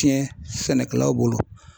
CɛN sɛnɛkɛlaw bolo .